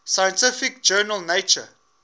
scientific journal nature